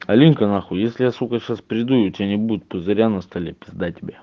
алинка нахуй если я сука сейчас приду и у тебя не будет пузыря на столе пизда тебе